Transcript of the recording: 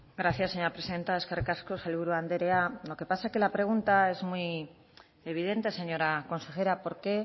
gracias señora presidenta eskerrik asko sailburu andrea lo que pasa es que la pregunta es muy evidente señora consejera por qué